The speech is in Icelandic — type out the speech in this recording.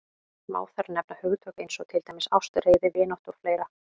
Má þar nefna hugtök eins og til dæmis ást, reiði, vináttu og fleira.